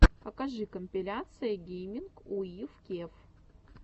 покажи компиляция гейминг уив кев